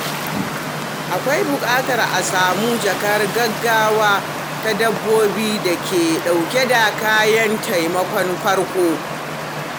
Akwai buƙatar a sami jakar gaggawa ta dabbobi da ke dauke da kayan taimakon farko.